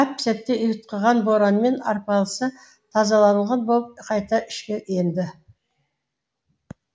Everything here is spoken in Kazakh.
әп сәтте ұйтқыған боранмен арпалыса тазаланған болып қайта ішке енді